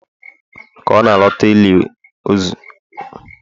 ka ọ na-alọta n'ụlọ ili ozu, ọ sụrụ n'si ukwu wee nwụọ